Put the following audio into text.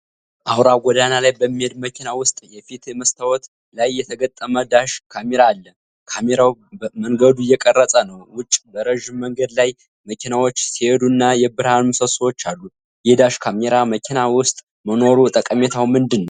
አውራ ጎዳና ላይ በሚሄድ መኪና ውስጥ የፊት መስታወት ላይ የተገጠመ ዳሽ ካሜራ አለ። ካሜራው መንገዱን እየቀረጸ ነው። ውጭ በረዥም መንገድ ላይ መኪናዎች ሲሄዱ እና የብርሃን ምሰሶዎች አሉ። የዳሽ ካሜራ መኪና ውስጥ መኖሩ ጠቀሜታው ምንድን ነው?